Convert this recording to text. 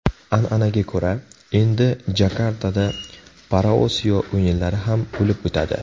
An’anaga ko‘ra, endi Jakartada Paraosiyo o‘yinlari ham bo‘lib o‘tadi.